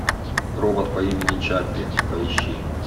робот по имени чаппи поищи